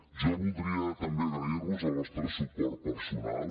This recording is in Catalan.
jo voldria també agrair vos el vostre suport personal